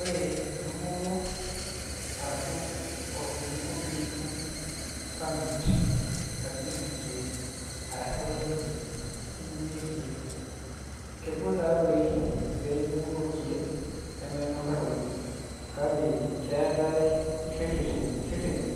Ore entumoto arashu eninko pee itum permit nadung'ieki ilkeek, arashu license nidung'ie ilkeek, kegol taadei esiai endung'oto oo lkeek nemenyoraroyu, kake keatai ireteni